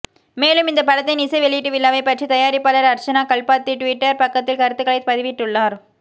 மேலும் இந்த படத்தின் இசை வெளியீட்டு விழாவை பற்றி தயாரிப்பாளர் அர்ச்சனா கல்பாத்தி ட்விட்டர் பக்கத்தில் கருத்துக்களை பதிவிட்டுள்ளார்